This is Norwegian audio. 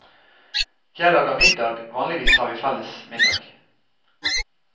Jeg lager middag, vanligvis har vi felles middag.